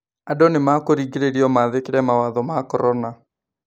Andũ nĩmakũringĩrĩrio mathĩkĩre mawatho ma korona